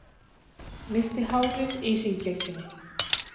Missti hárið í hringekjunni